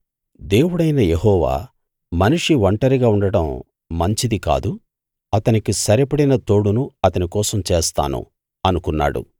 దేవుడైన యెహోవా మనిషి ఒంటరిగా ఉండడం మంచిది కాదు అతనికి సరిపడిన తోడును అతని కోసం చేస్తాను అనుకున్నాడు